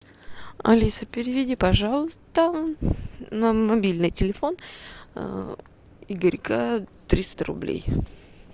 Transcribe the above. алиса переведи пожалуйста на мобильный телефон игорька триста рублей